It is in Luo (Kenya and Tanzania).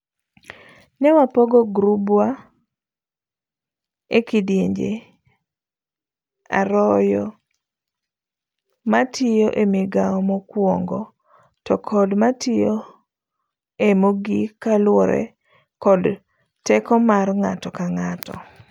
Ne wapogo gurubwa e kidienje aroyo, matiyo emigao mokwongo to kod matiyo e mogik kaluwore kod teko mar ng'ato ka ng'ato.